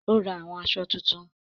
Ó ra àwọn aṣọ titun